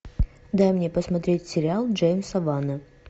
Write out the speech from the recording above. дай мне посмотреть сериал джеймса вана